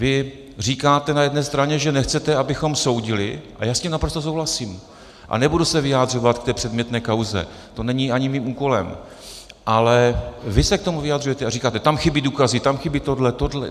Vy říkáte na jedné straně, že nechcete, abychom soudili, a já s tím naprosto souhlasím a nebudu se vyjadřovat k té předmětné kauze, to není ani mým úkolem, ale vy se k tomu vyjadřujete a říkáte: Tam chybí důkazy, tam chybí tohle, tohle.